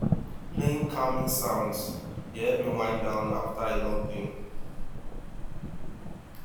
playing calming sounds dey help me wind down after a long day